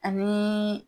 Ani